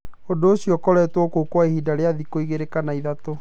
Ũndũ ũcio ũkoretwo kuo kwa ihinda rĩa thikũ igĩrĩ kana ithatũ.